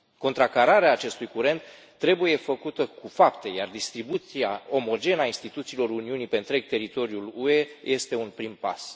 Contracararea acestui curent trebuie făcută cu fapte, iar distribuția omogenă a instituțiilor Uniunii pe întreg teritoriul UE este un prim pas.